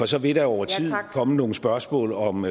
så vil der over tid komme nogle spørgsmål om